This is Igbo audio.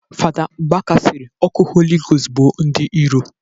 Fada Mbaka sịrị ọkụ holi gost gbuo ndị iro